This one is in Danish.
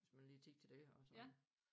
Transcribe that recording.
Hvis man har lige tid til det og sådan